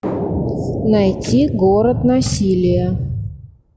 найти город насилия